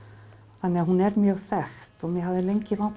þannig að hún er mjög þekkt og mig hafði lengi langað